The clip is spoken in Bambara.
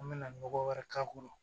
An bɛna nɔgɔ wɛrɛ k'a kɔrɔ